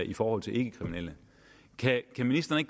i forhold til ikkekriminelle kan ministeren